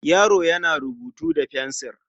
Yaro yana rubutu da fensil.